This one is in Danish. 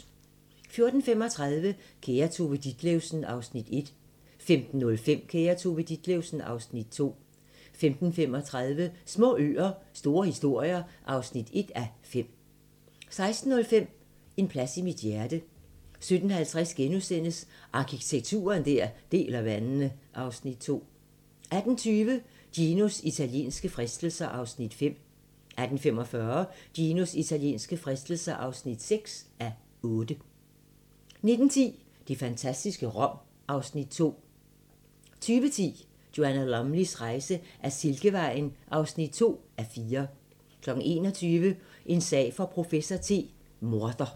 14:35: Kære Tove Ditlevsen (Afs. 1) 15:05: Kære Tove Ditlevsen (Afs. 2) 15:35: Små øer - store historier (1:5) 16:05: En plads i mit hjerte 17:50: Arkitektur der deler vandene (Afs. 2)* 18:20: Ginos italienske fristelser (5:8) 18:45: Ginos italienske fristelser (6:8) 19:10: Det fantastiske Rom (Afs. 2) 20:10: Joanna Lumleys rejse ad Silkevejen (2:4) 21:00: En sag for professor T: Morder